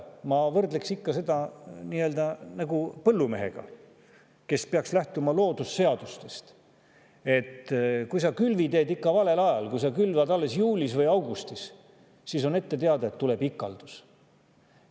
Ma võrdleksin seda põllumehega, kes peaks lähtuma loodusseadustest, et kui sa külvi teed ikka valel ajal, kui sa külvad alles juulis või augustis, siis on ette teada, et tuleb ikaldus.